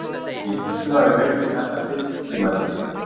Ég er viss um að við fengjum þetta birt í tímariti.